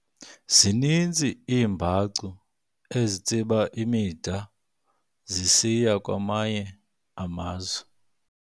Zininzi iimbacu ezitsiba imida zisiya kwamanye amazwe.